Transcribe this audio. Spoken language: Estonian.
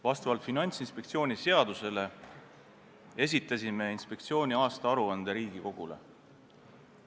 Vastavalt Finantsinspektsiooni seadusele esitasime inspektsiooni aastaaruande Riigikogule.